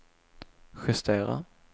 justera